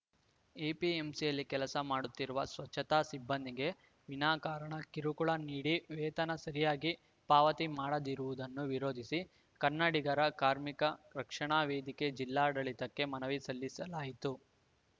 ಎಪಿಎಂಸಿಯಲ್ಲಿ ಕೆಲಸ ಮಾಡುತ್ತಿರುವ ಸ್ವಚ್ಛತಾ ಸಿಬ್ಬಂದಿಗೆ ವಿನಾಕಾರಣ ಕಿರುಕುಳ ನೀಡಿ ವೇತನ ಸರಿಯಾಗಿ ಪಾವತಿ ಮಾಡದಿರುವುದನ್ನು ವಿರೋಧಿಸಿ ಕನ್ನಡಿಗರ ಕಾರ್ಮಿಕ ರಕ್ಷಣಾ ವೇದಿಕೆ ಜಿಲ್ಲಾಡಳಿತಕ್ಕೆ ಮನವಿ ಸಲ್ಲಿಸಲಾಯಿತು